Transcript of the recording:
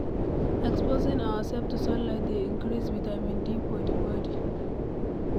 Exposing ourself to sunlight dey increase vitamin D for di body